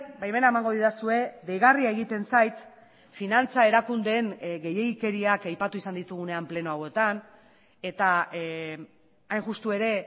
baimena emango didazue deigarria egiten zait finantza erakundeen gehiegikeriak aipatu izan ditugunean pleno hauetan eta hain justu ere